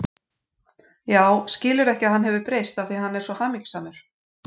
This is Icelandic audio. Já, skilurðu ekki að hann hefur breyst af því að hann er svo hamingjusamur.